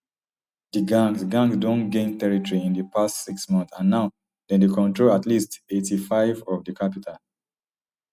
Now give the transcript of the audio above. di gangs gangs don gain territory in di past six months and now dem dey control at least eighty-five of di capital